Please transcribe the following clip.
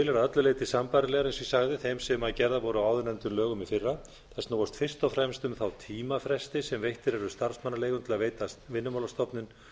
að öllu leyti sambærilegar eins og ég sagði þeim sem gerðar voru á áðurnefndum lögum í fyrra þær snúast fyrst og fremst um þá tímafresti sem veittir eru starfsmannaleigum til að veita vinnumálastofnun